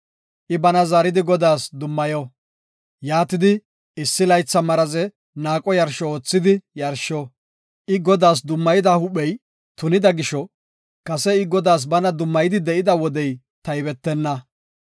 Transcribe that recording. I bana zaaridi Godaas dummayo. Yaatidi issi laytha maraze naaqo yarsho oothidi yarsho. I Godaas dummayida huuphey tunida gisho, kase I bana Godaas dummayidi de7ida wodey taybetenna.